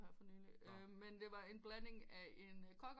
Her for nylig men det var en blanding mellem en cocker